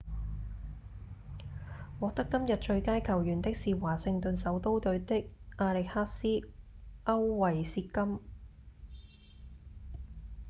獲得今日最佳球員的是華盛頓首都隊的亞歷克斯．歐維契金